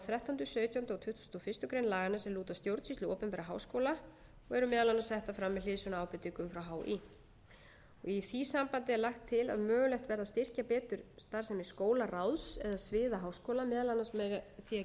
og fyrstu grein laganna sem lúta að stjórnsýslu við opinbera háskóla og eru meðal annars settar fram með hliðsjón af ábendingum frá hí í því sambandi er lagt til að mögulegt verði að styrkja betur starfsemi skólaráðs eða sviða háskóla meðal annars með því að